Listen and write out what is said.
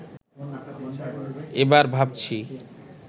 এবার ভাবছি